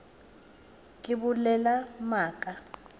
be ke bolela maaka a